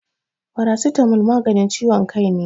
Farasitamo maganin ciwon kai ne